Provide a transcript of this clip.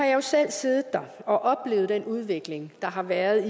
jo selv siddet der og oplevet den udvikling der har været